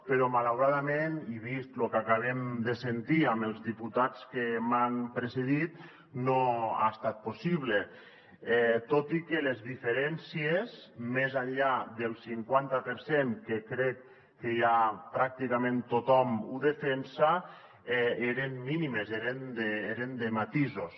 però malauradament i vist lo que acabem de sentir amb els diputats que m’han precedit no ha estat possible tot i que les diferències més enllà del cinquanta per cent que crec que ja pràcticament tothom ho defensa eren mínimes eren de matisos